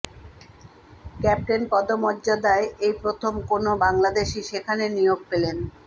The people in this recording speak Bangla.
ক্যাপ্টেন পদমর্যাদায় এই প্রথম কোনও বাংলাদেশি সেখানে নিয়োগ পেলেন